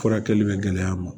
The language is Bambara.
Furakɛli bɛ gɛlɛya n ma